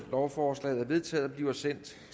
lovforslaget er vedtaget og bliver sendt